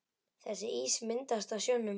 Þessi ís myndast á sjónum.